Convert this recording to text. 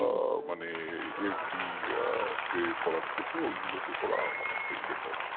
আহ মানে FD তে করার থেকে ওইগুলোতে করা অনেকটাই better